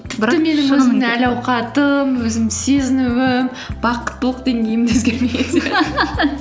әл ауқатым өзімнің сезінуім бақыттылық деңгейім де өзгермеген